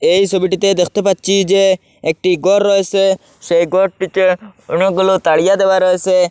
এই ছবিটিতে দেখতে পাচ্ছি যে একটি ঘর রয়েছে সেই ঘরটিতে অনেকগুলো তারিয়া দেওয়া রয়েছে।